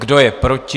Kdo je proti?